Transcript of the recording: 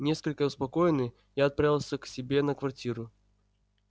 несколько успокоенный я отправился к себе на квартиру